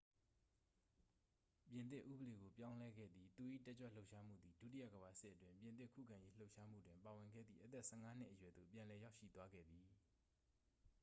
ပြင်သစ်ဥပဒေကို ပြောင်းလဲခဲ့သည် သူ၏ တက်ကြွလှုပ်ရှားမှုသည် ဒုတိယကမ္ဘာစစ်အတွင်း ပြင်သစ်ခုခံရေးလှုပ်ရှားမှုတွင် ပါဝင်ခဲ့သည့် အသက် 15 နှစ်အရွယ်သို့ ပြန်လည်ရောက်ရှိသွားခဲ့သည်